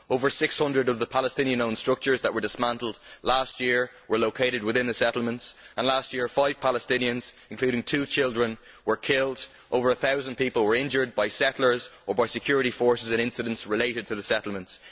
Over 600 of the Palestinian owned structures which were dismantled last year were located within the settlements and last year five Palestinians, including two children, were killed, and over a thousand people were injured, by settlers or by security forces in incidents related to the settlements.